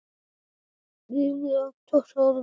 Ríflega tuttugu árum síðar.